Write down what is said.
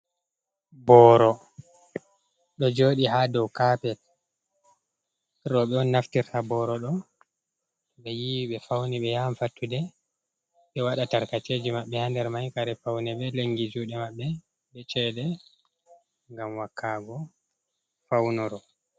Boro ɗo joɗi ha dow kapet, roɓe on naftirta boro ɗo ɓe yiwi ɓe fauni be yahan fattude ɓe waɗa tarkaceji mabɓe ha nder mai, kare paune be lengi juɗe maɓɓe be cede ngam wakago faunoro.